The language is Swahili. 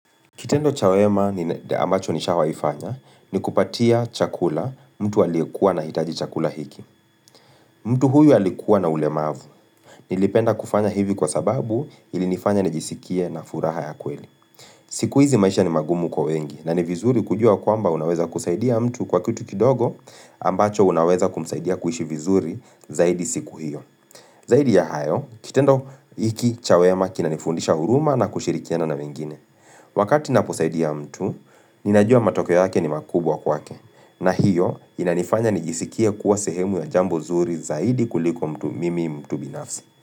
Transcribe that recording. Kitendo cha wema ambacho nishawaifanya ni kupatia chakula mtu alikuwa anahitaji chakula hiki. Mtu huyu alikuwa na ulemavu. Nilipenda kufanya hivi kwa sababu ilinifanya nijisikie na furaha ya kweli. Siku hizi maisha ni magumu kwa wengi na ni vizuri kujua kwamba unaweza kusaidia mtu kwa kitu kidogo ambacho unaweza kumsaidia kuhishi vizuri zaidi siku hiyo. Zaidi ya hayo, kitendo hiki cha wema kinanifundisha huruma na kushirikiana na wengine. Wakati naposaidia mtu, ninajua matokeo yake ni makubwa kwake na hiyo, inanifanya nijisikie kuwa sehemu ya jambo nzuri zaidi kuliko mtu mimi mtu binafsi.